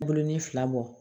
Bulonin fila bɔ